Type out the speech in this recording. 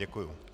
Děkuji.